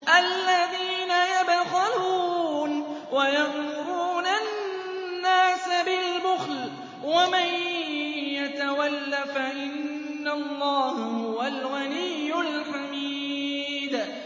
الَّذِينَ يَبْخَلُونَ وَيَأْمُرُونَ النَّاسَ بِالْبُخْلِ ۗ وَمَن يَتَوَلَّ فَإِنَّ اللَّهَ هُوَ الْغَنِيُّ الْحَمِيدُ